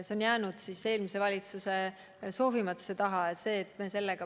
See on jäänud eelmise valitsuse soovimatuse taha.